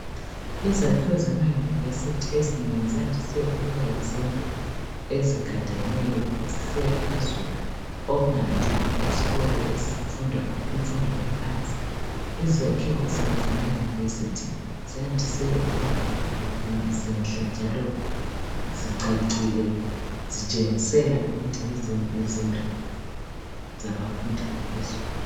Izakhiwo zemauniversity ezinengi, ziyandise ukuba yizindlu ezigadeneyo, zisiya phezulu. Okungayandanga ezikolo, ezifundwa imfundo yaphansi. Izakhiwo zamauniversity ziyandise ukuba zinhle, njalo zicacile. Zitshengisela ukuba yizindlu , zabafundi baphezulu.